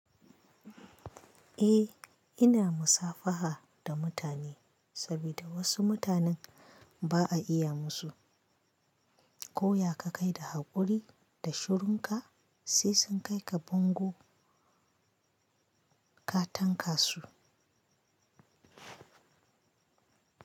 Eh, ina musafaha da mutane sabida wasu mutanen ba a iya musu. Ko ya ka kai da haƙuri da shurun ka sai sun kai ka bango, ka tanka su.